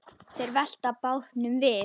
Þeir velta bátnum við.